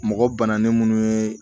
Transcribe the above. Mɔgɔ bananen munnu ye